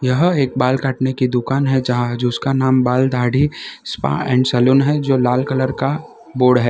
यह एक बाल काटने की दुकान है जहां जो उसका नाम बाल दाढ़ी स्पा एंड सलून है जो लाल कलर का बोर्ड है।